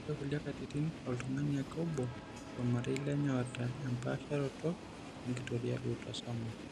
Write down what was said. Ore kulie katitin oltung'ani ake obo tolmarei lenye oata empaasharoto enkitoria eautosomal.